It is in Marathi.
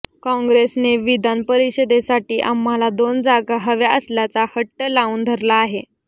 कॉंग्रेसने विधान परिषदेसाठी आम्हाला दोन जागा हव्या असल्याचा हट्ट लावून धरला आहे